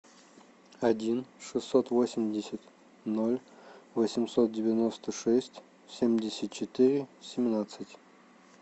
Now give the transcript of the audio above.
один шестьсот восемьдесят ноль восемьсот девяносто шесть семьдесят четыре семнадцать